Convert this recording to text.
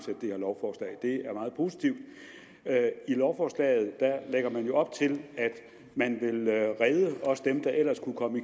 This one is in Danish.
det her lovforslag det er meget positivt i lovforslaget lægger man jo op til at man vil redde også dem der ellers kunne komme